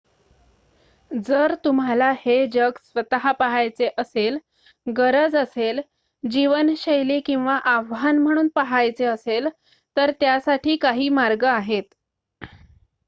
जर तुम्हाला हे जग स्वतः पहायचे असेल गरज असेल जीवनशैली किंवा आव्हान म्हणून पहायचे असेल तर त्यासाठी काही मार्ग आहेत